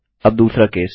अब दूसरा केस